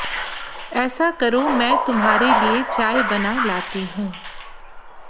ऐसा करो मैं तुम्हारे लिए चाय बना लाती हूं